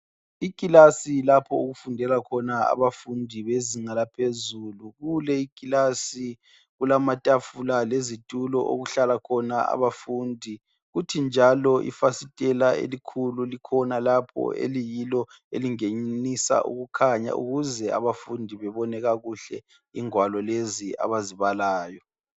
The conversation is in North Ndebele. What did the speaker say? Ikilasi lapho okufundela khona abafundi bezinga laphezulu. Kule ikilasi kulamatafula lezitulo okuhlala khona abafundi futhi njalo ifasitela elikhulu likhona lapha eliyilo elingenisa ukukhanya ukuze abafundi babone kakuhle ingwalo lezi abazibalayo.